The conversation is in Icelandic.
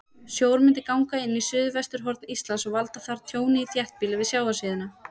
Sjór myndi ganga inn á suðvesturhorn Íslands og valda þar tjóni í þéttbýli við sjávarsíðuna.